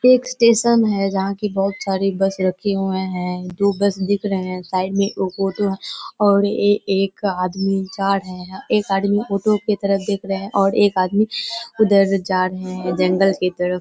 एक स्टेशन है जहाँ पे बहुत सारी बस रखे हुए हैं दो बस दिख रहे है साइड में एक ऑटो है और ए एक आदमी जा रहे हैं एक आदमी ऑटो की तरफ देख रहे है और एक आदमी उदर है जंगल की तरफ।